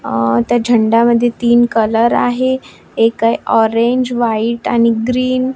अ त्या झेंड्या मध्ये तीन कलर आहे एक आहे ऑरेंज वाईट आणि ग्रीन .